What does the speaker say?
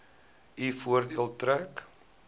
u voordeel trek